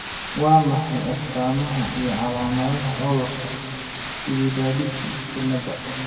Waa maxay astamaha iyo calaamadaha cudurka Chilaiditi ciilada?